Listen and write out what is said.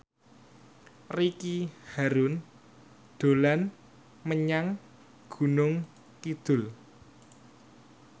Ricky Harun dolan menyang Gunung Kidul